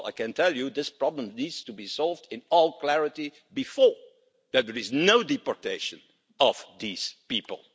Well, I can tell you this problem needs to be solved in all clarity before, that there is no deportation of these people.